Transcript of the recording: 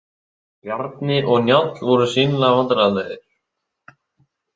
Bjarni og Njáll voru sýnilega vandræðalegir.